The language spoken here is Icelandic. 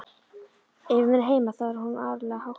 Ef hún er heima þá er hún áreiðanlega háttuð.